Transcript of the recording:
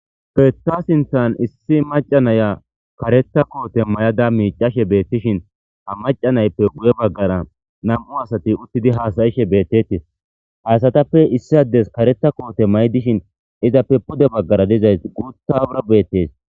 Heyisa sintan issi macasiya naya kareta kote mayada micashe deashe betishe ha maca nayippe giye bagara nam'u asati utidi hasayishe betes ha asatappe issi adde kareta kote mayidi dishine izappe pude bagara dizayissi gutara betes.